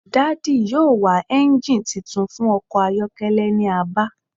Daddy yoo wa engine titun fun ọkọ ayọkẹlẹ ni Aba